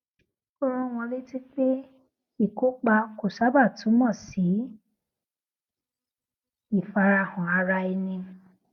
ó rán wọn létí pé ìkópa kò sábà túmọ sí ìfarahàn ara ẹni